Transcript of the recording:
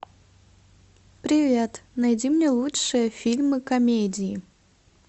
привет найди мне лучшие фильмы комедии